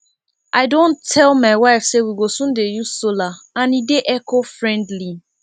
i don tell my wife say we go soon dey use solar and e dey eco friendly